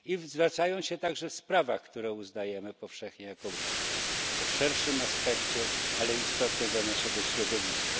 Zwracają się także w sprawach, które uznajemy powszechnie za sprawy o szerszym aspekcie, ale istotne dla naszego środowiska.